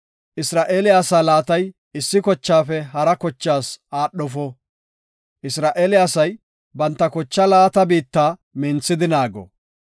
Isra7eele asaa laatay issi kochaafe hara kochaas aadhofo; Isra7eele asay banta kochaa laata biitta minthidi naago.